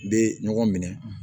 Bɛ ɲɔgɔn minɛ